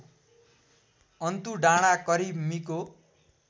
अन्तुडाँडा करिब मिको